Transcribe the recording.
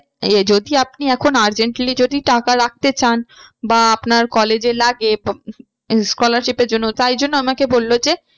এ যদি আপনি এখন urgently যদি টাকা রাখতে চান বা আপনার college এ লাগে scholarship এর জন্য তাই জন্য আমাকে বললো যে